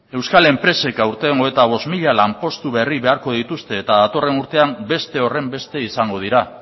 euskal enpresek aurten hogeita bost mila lanpostu berri beharko dituzte eta datorren urtean beste horrenbeste izango dira